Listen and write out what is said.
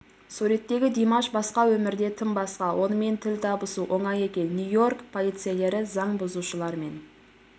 суреттегі димаш басқа өмірде тым басқа онымен тіл табысу оңай екен нью-йорк полицейлері заң бұзушылар мен